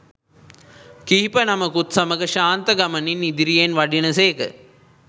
කිහිප නමකුත් සමඟ ශාන්ත ගමනින් ඉදිරියෙන් වඩින සේක